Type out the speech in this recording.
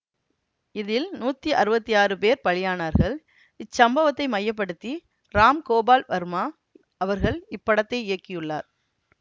இதில் நூத்தி அறுவத்தி ஆறு பேர் பலியானார்கள் இச்சம்பவத்தை மைய படுத்தி ராம் கோபால் வர்மா அவர்கள் இப்படத்தை இயக்கியுள்ளார்